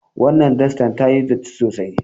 Wannan dastar tayi datti sosai.